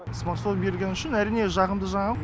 смартфон берілгені үшін әрине жағымды жаңалық